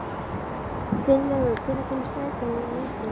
Finnlaugur, hvenær kemur strætó númer nítján?